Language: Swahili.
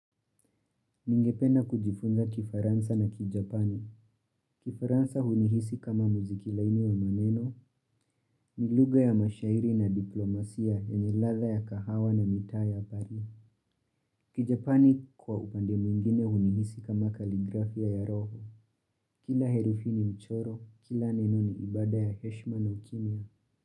Ningependa kujifunza kifaransa na kijapani. Kifaransa hunihisi kama muziki laini wa maneno, ni lugha ya mashairi na diplomasia yenye ladha ya kahawa na mitaa ya pari. Kijapani kwa upande mwingine hunihisi kama kaligrafia ya roho. Kila herufi ni mchoro, kila neno ni ibada ya heshma na ukimya.